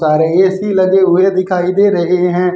सारे ए_सी लगे हुए दिखाई दे रहे हैं।